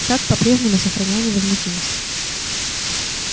сатт по-прежнему сохранял невозмутимость